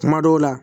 Kuma dɔw la